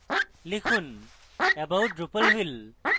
লিখুন about drupalville